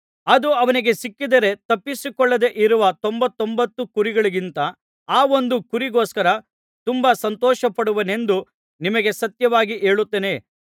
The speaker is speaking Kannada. ಅದು ಅವನಿಗೆ ಸಿಕ್ಕಿದರೆ ತಪ್ಪಿಸಿಕೊಳ್ಳದೆ ಇರುವ ತೊಂಬತ್ತೊಂಬತ್ತು ಕುರಿಗಳಿಗಿಂತ ಆ ಒಂದು ಕುರಿಗೋಸ್ಕರ ತುಂಬಾ ಸಂತೋಷಪಡುವನೆಂದು ನಿಮಗೆ ಸತ್ಯವಾಗಿ ಹೇಳುತ್ತೇನೆ